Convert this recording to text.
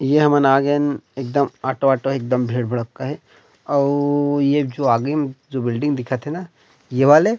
ये मन आ गेन एकदम ऑटो -ऑटो हे एकदम भीड़- भड़क्का हे अउ एक जो आगे में जो बिल्डिंग दिखत हे ना ये वाले --